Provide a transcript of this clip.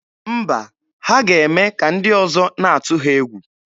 Mba, ha ga-eme ka ndị ọzọ na-atụ ha egwu.